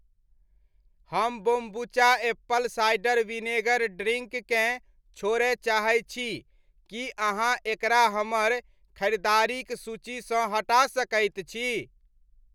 हम kombucha apple cider vinegar drink केँ छोड़य चाहै छी, की अहाँ एकरा हमर खरिदारिक सूचीसँ हटा सकैत छी?